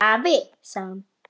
Afi, sagði hún.